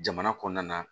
Jamana kɔnɔna na